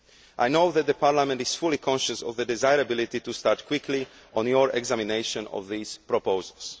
I know that Parliament is fully conscious of the desirability to start quickly on your examination of these proposals.